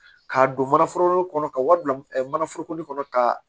K'a don manaforoko kɔnɔ ka wari bila mana foroko kɔnɔ ka